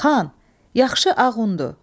Xan, yaxşı ağ undu.